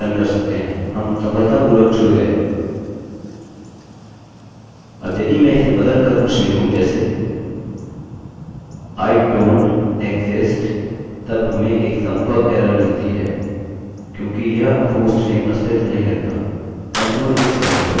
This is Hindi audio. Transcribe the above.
अब यदि मैं इसे बदल कर कुछ लिखूँ जैसे i dont exist तब हमें एक सम्पर्क एरर मिलती है क्योंकि यह होस्ट नेमhost name अस्तित्व नहीं रखता कम से कम इस कंप्यूटर पर